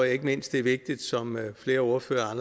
ikke mindst er vigtigt som flere ordførere har